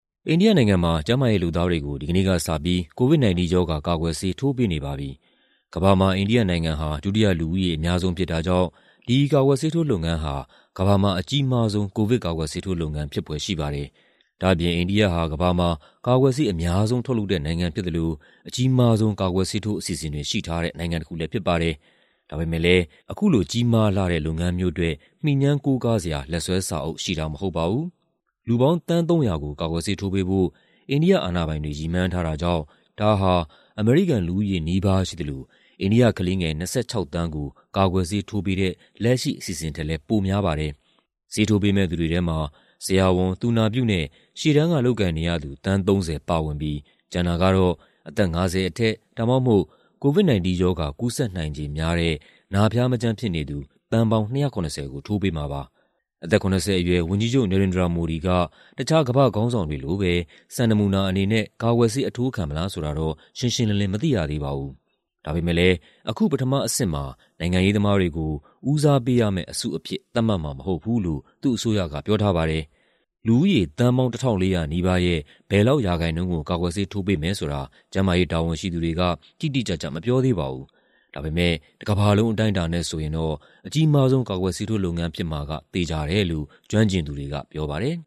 အိန္ဒိယနိုင်ငံမှာ ကျန်းမာရေးလုပ်သားတွေကို ဒီကနေ့ကစပြီး COVID-19 ရောဂါ ကာကွယ်ဆေး ထိုးပေးနေပါပြီ။ ကမ္ဘာမှာ အိန္ဒိယနိုင်ငံက ဒုတိယ လူဦးရေအများဆုံး ဖြစ်တာကြောင့် ဒီကာကွယ်ဆေးထိုးလုပ်ငန်းဟာ ကမ္ဘာမှာ အကြီးမားဆုံး ကိုဗစ်ကာကွယ်ဆေးထိုးလုပ်ငန်း ဖြစ်ဖွယ်ရှိပါတယ်။ ဒါ့အပြင် အိန္ဒိယဟာ ကမ္ဘာမှာ ကာကွယ်ဆေး အများဆုံးထုတ်လုပ်တဲ့နိုင်ငံ ဖြစ်သလို အကြီးမားဆုံး ကာကွယ်ဆေးထိုး အစီအစဉ်တွေ ရှိထားတဲ့ နိုင်ငံတခုလည်း ဖြစ်ပါတယ်။ ဒါပေမယ့်လည်း ဒီလို ကြီးမားလှတဲ့ လုပ်ငန်းမျိုးအတွက် မှီငြမ်းကိုးကားစရာ လက်စွဲစာအုပ်ရှိတာ မဟုတ်ပါဘူး။ လူပေါင်း သန်း ၃၀၀ ကို ကာကွယ်ဆေးထိုးပေးဖို့ အိန္ဒိယအာဏာပိုင်တွေ ရည်မှန်းထားတာကြောင့် ဒါဟာ အမေရိကန်လူဦးရေနီးပါး ရှိသလို အိန္ဒိယကလေးငယ် ၂၆ သန်းကို ကာကွယ်ဆေးထိုးပေးတဲ့ လက်ရှိအစီအစဉ်ထက်လည်း ပိုများပါတယ်။ ဆေးထိုးပေးမယ့်သူတွေထဲမှာ ဆရာဝန်၊ သူနာပြုနဲ့ ရှေ့တန်းကလုပ်ကိုင်နေရသူ သန်း ၃၀ ပါဝင်ပြီး ကျန်တာကတော့ အသက် ၅၀ အထက် ဒါမှမဟုတ် COVID-19 ရောဂါ ကူးစက်နိုင်ခြေများတဲ့ နာဖျားမကျန်းဖြစ်နေသူ သန်းပေါင်း ၂၇၀ ကို ထိုးပေးမှာပါ။ အသက် ၇၀ အရွယ် ဝန်ကြီးချုပ် Narendra Modi က တခြား ကမ္ဘာ့ခေါင်းဆောင်တွေလိုပဲ စံနမူနာအနေနဲ့ ကာကွယ်ဆေး အထိုးခံမလားဆိုတာ ရှင်းရှင်းလင်းလင်း မသိရသေးပါဘူး။ ဒါပေမယ့်လည်း အခု ပထမအဆင့်မှာ နိုင်ငံရေးသမားတွေကို ဦးစားပေးရမယ့်အစုအဖြစ် သတ်မှတ်မှာမဟုတ်ဘူးလို့ သူ့အစိုးရက ပြောထားပါတယ်။ လူဦးရေ သန်းပေါင်း ၁,၄၀၀ နီးပါးရဲ့ ဘယ်လောက်ရာခိုင်နှုန်းကို ကာကွယ်ဆေးထိုးပေးမယ်ဆိုတာ ကျန်းမာရေးတာဝန်ရှိသူတွေက တိတိကျကျ မပြောသေးပါဘူး။ ဒါပေမယ့် တကမ္ဘာလုံး အတိုင်းအတာနဲ့ဆိုရင် အကြီးမားဆုံး ကာကွယ်ဆေးထိုးလုပ်ငန်း ဖြစ်မှာကတော့ သေချာတယ်လို့ ကျွမ်းကျင်သူတွေက ပြောပါတယ်